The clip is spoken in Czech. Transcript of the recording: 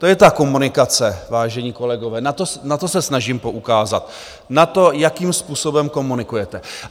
To je ta komunikace, vážení kolegové, na to se snažím poukázat - na to, jakým způsobem komunikujete.